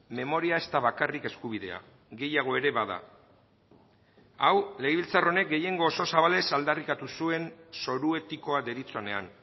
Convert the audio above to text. memoria ez da bakarrik eskubidea gehiago ere bada hau legebiltzar honek gehiengo oso zabalez aldarrikatu zuen zoru etikoa deritzonean